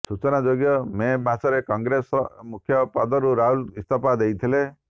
ସୂଚନାଯୋଗ୍ୟ ମେ ମାସରେ କଂଗ୍ରେସ ମୁଖ୍ୟ ପଦରୁ ରାହୁଲ ଇସ୍ତଫା ଦେଇଥିଲେ